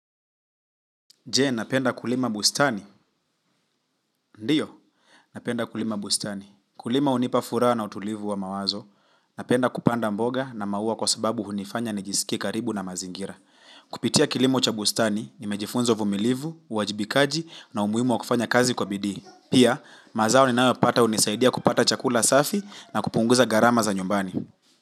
Je, napenda kulima bustani. Ndiyo. Napenda kulima bustani. Kulima hunipa furaha na utulivu wa mawazo. Napenda kupanda mboga na maua kwa sababu hunifanya nijisikie karibu na mazingira. Kupitia kilimo cha bustani, nimejifunza uvumilivu, uwajibikaji na umuhimu wa kufanya kazi kwa bidii. Pia, mazao ninayoyapata hunisaidia kupata chakula safi na kupunguza gharama za nyumbani.